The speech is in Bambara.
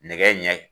Nɛgɛ ɲɛ